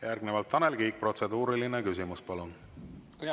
Järgnevalt Tanel Kiik, protseduuriline küsimus, palun!